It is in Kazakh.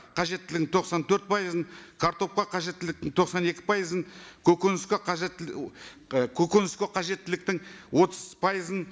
қажеттілігін тоқсан төрт пайызын картопқа қажеттіліктің тоқсан екі пайызын көгініске қажетті і көгініске қажеттіліктің отыз пайызын